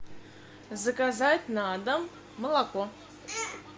заказать на дом молоко